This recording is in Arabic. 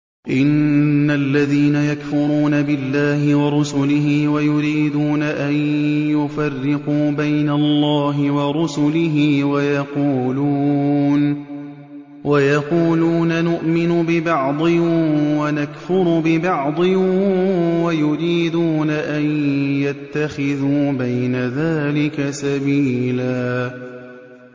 إِنَّ الَّذِينَ يَكْفُرُونَ بِاللَّهِ وَرُسُلِهِ وَيُرِيدُونَ أَن يُفَرِّقُوا بَيْنَ اللَّهِ وَرُسُلِهِ وَيَقُولُونَ نُؤْمِنُ بِبَعْضٍ وَنَكْفُرُ بِبَعْضٍ وَيُرِيدُونَ أَن يَتَّخِذُوا بَيْنَ ذَٰلِكَ سَبِيلًا